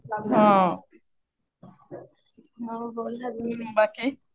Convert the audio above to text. हम्म. मग बोल अजून बाकी.